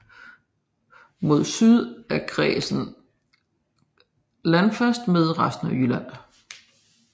Mod syd er kredsen landfast med resten af Jylland